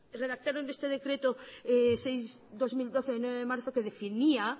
redactaron este decreto seis barra dos mil doce de nueve de marzo que definía